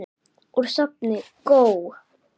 Úr safni GÓ.